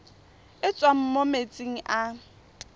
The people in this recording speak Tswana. e tswang mo metsing a